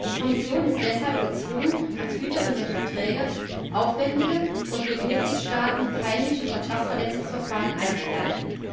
Die Kommission ist deshalb gezwungen, als Hüterin der Verträge aufwendige und für die Mitgliedstaaten peinliche Vertragsverletzungsverfahren einzuleiten.